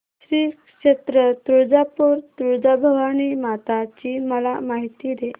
श्री क्षेत्र तुळजापूर तुळजाभवानी माता ची मला माहिती दे